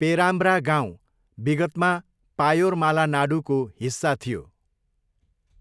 पेराम्ब्रा गाउँ विगतमा 'पायोरमाला नाडु' को हिस्सा थियो।